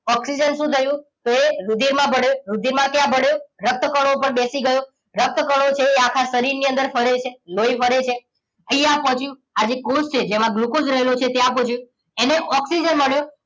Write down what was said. oxygen શું થયું તોએ રુધિર માં ભળીયું રુધિર માં ક્યાં ભળિયું રક્તકણો ઉપર બેસી ગયો રકતકણો છે એ આખા શરીર ની અંદર ફરે છે લોહી ફરે છે અહિયાં પોચિયું આજે કોષ છે જેમાં ગ્લુકોસ રહેલો છે ત્યાં પોચે તેને ઓક્સિજન મળ્યો